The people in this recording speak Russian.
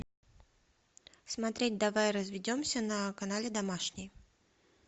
смотреть давай разведемся на канале домашний